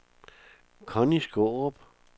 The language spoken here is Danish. Conny Skaarup